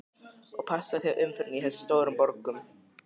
Og passaðu þig á umferðinni í þessum stóru borgum.